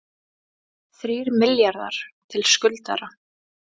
Þrír milljarðar til skuldara